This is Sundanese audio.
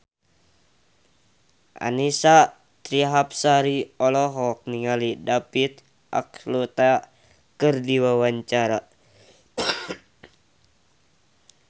Annisa Trihapsari olohok ningali David Archuletta keur diwawancara